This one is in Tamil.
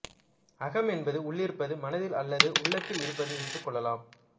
அகம் என்பது உள்ளிருப்பது மனதில் அல்லது உள்ளத்தில் இருப்பது என்று கொள்ளலாம்